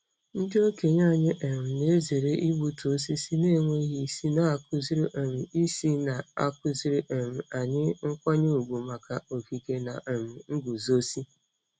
Ndị okenye anyị um na-ezere igbutu osisi na-enweghị isi, na-akụziri um isi, na-akụziri um anyị nkwanye ùgwù maka okike na um nguzozi.